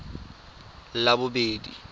labobedi